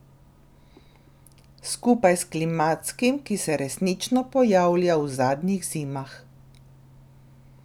Skupaj s klimatskim, ki se resnično pojavlja v zadnjih zimah.